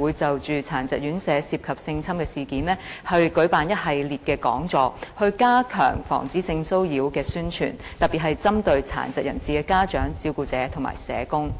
會就殘疾人士院舍涉及性侵的事件，舉辦一系列講座，以加強防止性騷擾的宣傳，對象特別針對殘疾人士的家長、照顧者及社工。